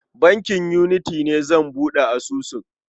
A bankin Unity ne zan buɗe asusun.